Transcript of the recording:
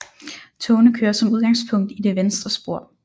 Togene kører som udgangspunkt i det venstre spor